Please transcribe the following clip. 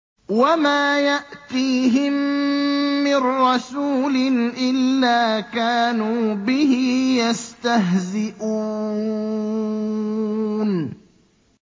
وَمَا يَأْتِيهِم مِّن رَّسُولٍ إِلَّا كَانُوا بِهِ يَسْتَهْزِئُونَ